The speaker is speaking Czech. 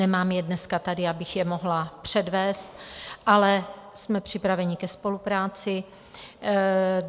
Nemám je dneska tady, abych je mohla předvést, ale jsme připraveni ke spolupráci.